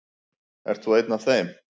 Ert þú einn af þeim?